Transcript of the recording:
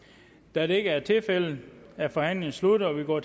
da det ikke er tilfældet er forhandlingen sluttet og vi går